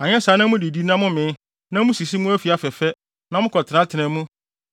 Anyɛ saa na sɛ mudidi na momee na musisi mo afi afɛfɛ, na mokɔtenatena mu